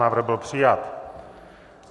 Návrh byl přijat.